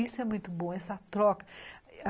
Isso é muito bom, essa troca.